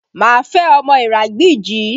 Má fẹ́ ọmọ Iragbiji!